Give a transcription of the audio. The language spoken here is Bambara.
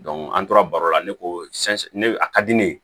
an tora baro la ne ko ne a ka di ne ye